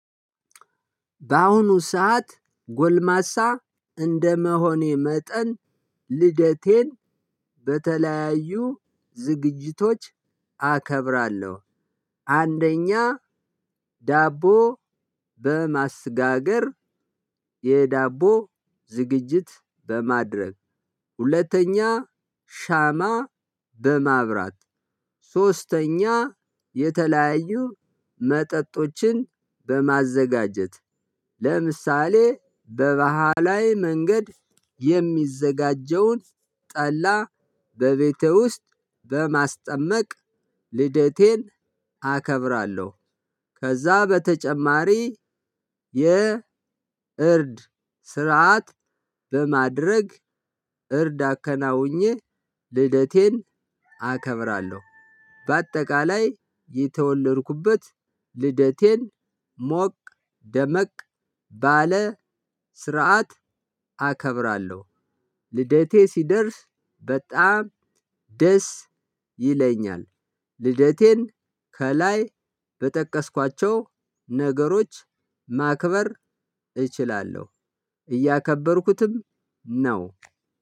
በአሁኑ ሰዓት ጎልማሳ እንደመሆኔ መጠን ልደቴን በተለያዩ ዝግጅቶች አከብራለሁ። አንደኛ ዳቦ በማስጋገር የዳቦ ዝግጅት በማድረግ ሁለተኛ ሻማ በማብራት ሶስተኛ የተለያዩ መጠጦችን በማዘጋጀት ለምሳሌ በባህላዊ መንገድ የሚዘጋጀውን ጠላ በቤቴ ውስጥ በማስጠመቅ ልደቴን አከብራለሁ። ከዛ በተጨማሪ የእርድ ስርዓት በማድረግ እርድ አከናውኜ ልደቴን አከብራለሁ። በአጠቃላይ የተወለድኩበት ልደቴን ሞቅ ደመቅ ባለ ስርዓት አከብራለሁ። ልደቴ ሲደርስ በጣም ደስ ይለኛል። ልደቴን ከላይ በጠቀስኳቸው ነገሮች ማክበር እችላለሁ እያከበርኩትም ነው።